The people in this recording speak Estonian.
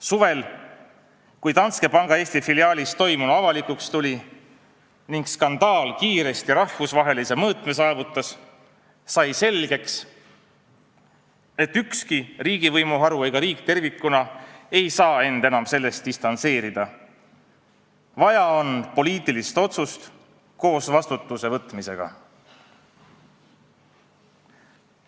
Suvel, kui Danske panga Eesti filiaalis toimunu avalikuks tuli ning skandaal kiiresti rahvusvahelise mõõtme saavutas, sai selgeks, et ükski riigivõimuharu ega riik tervikuna ei saa end enam sellest distantseerida, vaja on poliitilist otsust koos vastutuse võtmisega.